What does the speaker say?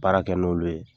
Baara kɛ n'olu ye